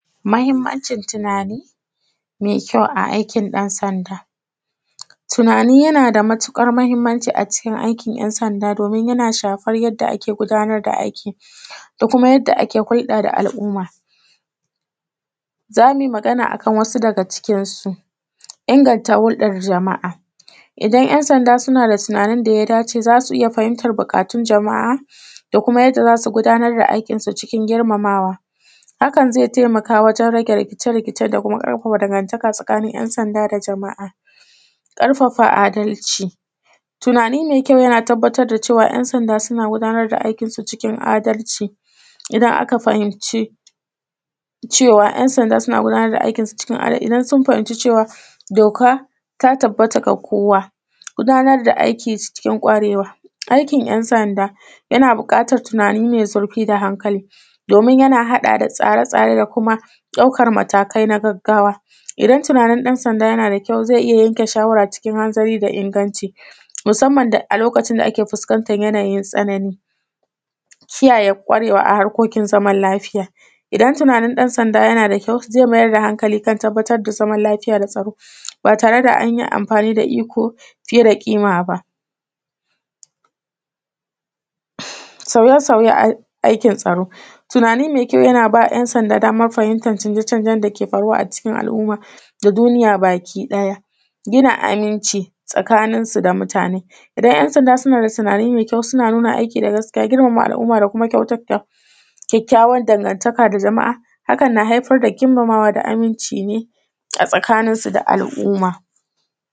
Mahimmancin tunani mai kyau a aikin ɗansanda Tunani yana da matuƙar mahimmanci a cikin aikin ‘yansanda domin yana shafar yadda ake gudanar da aiki da kuma yadda ake hulɗa da al’umma, za mu yi magana akan wasu daga cikin su; Inganta hulɗar jama’a. Idan ‘yansanda suna da tunanin da ya dace za su iya fahimtar buƙatun jama’a da kuma yadda za su gudanar da aikinsu cikin girmamawa hakan zai taimaka wajen rage rikice-rikice da kuma ƙarfafa dangantaka tsakanin ‘yansanda da jama’a ƙarfafa adalci. Tunani mai kyau yana tabbatar da cewa ‘yansanda suna gudanar da aikinsu cikin adalci idan aka fahimci cewa ‘yansanda suna gudanar da aikinsu cikin adalci idan sun fahimci cewa doka ta tabbata ga kowa. Gudanar da aiki cikin ƙwarewa. Aikin ‘yansanda yana buƙatar tunani mai zurfi da hankali domin yana haɗawa da tsare-tsare da kuma ɗaukar matakai na gaggawa, idan tunanin ɗansanda yana da kyau zai iya yanke shawara cikin hanzari da inganci musamman da a lokacin da ake fuskantar yanayin tsanani. Kiyaye ƙwarewa a harkokin zaman lafiya. Idan tunanin ɗansanda yana da kyau, zai mayar da hankali kan tabbatar da zaman lafiya da tsaro ba tare da anyi amfani da iko fiye da ƙima ba. Sauye-sauyen a; aikin tsaro. Tunani mai kyau yana ba ‘yansanda damar fahimtar canje-canjen da ke faruwa a cikin al’uma da duniya bakiɗaya. Gina aminci tsakanin su da mutane. Idan ‘yansanda suna da tunani mai kyau suna nuna aiki da gaskiya, girmama al’umma da kuma kyautata kyakkyawar dangantaka da jama’a, hakan na haifar da girmamawa da aminci ne a tsakanin su da al’umma.